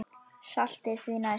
Saltið því næst.